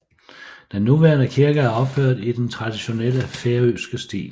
Den nuværende kirke er opført i den traditionelle færøske stil